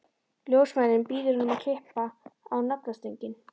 Ljósmóðirin býður honum að klippa á naflastrenginn.